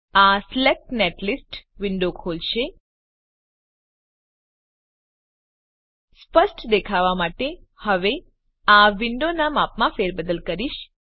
આ select netlist window ખોલશે સ્પષ્ટ દેખાવ માટે હું હવે આ વિન્ડોનાં માપમાં ફેરબદલ કરીશ